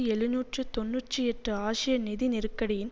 எழுநூற்று தொன்னூற்றி எட்டு ஆசிய நிதி நெருக்கடியின்